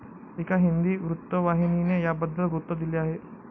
एका हिंदी वृत्तवाहिनीने याबद्दल वृत्त दिले आहे.